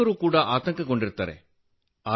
ಶಿಕ್ಷಕರೂ ಕೂಡ ಆತಂಕಗೊಂಡಿರುತ್ತಾರೆ